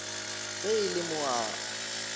ge e le mo a